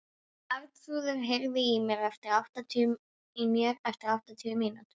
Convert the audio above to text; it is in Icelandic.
Arnþrúður, heyrðu í mér eftir áttatíu mínútur.